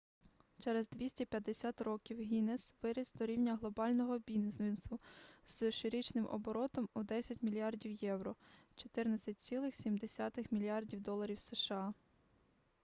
через 250 років гіннес виріс до рівня глобального бізнесу з щорічним оборотом у 10 мільярдів євро 14,7 мільярдів доларів сша